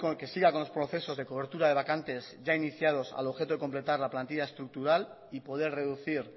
que siga con los procesos de cobertura de vacantes ya iniciados al objeto de completar la plantillar estructural y poder reducir